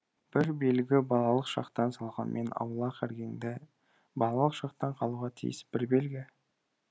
бір белгі балалық шақтан салғанмен аулақ іргеңді балалық шақтан қалуға тиіс бір белгі